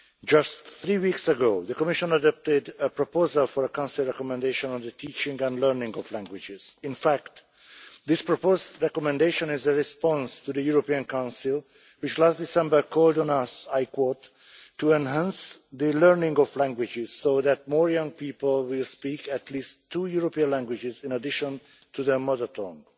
Just three weeks ago, the Commission adopted a proposal for a Council recommendation on the teaching and learning of languages. In fact, this proposal's recommendation is a response to the European Council which last December called on us, I quote, to enhance the learning of languages so that more young people will speak at least two European languages in addition to their mother tongue'.